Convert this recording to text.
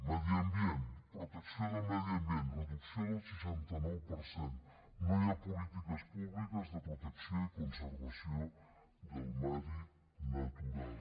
medi ambient protecció del medi ambient reducció del seixanta nou per cent no hi ha polítiques públiques de protecció i conservació del medi natural